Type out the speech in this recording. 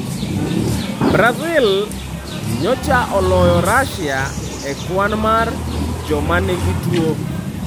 Brazil nyocha oloyo Russia e kwan mar joma nigi tuo .